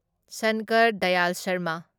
Shankar Dayal Sharma